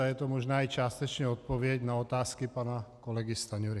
A je to možná i částečně odpověď na otázky pana kolegy Stanjury.